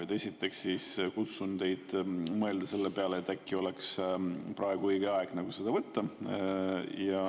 Esiteks, kutsun teid üles mõtlema selle peale, et äkki oleks praegu õige aeg seda võtta.